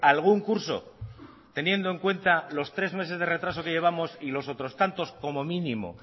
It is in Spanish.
algún curso teniendo en cuenta los tres meses de retraso que llevamos y los otros tantos como mínimo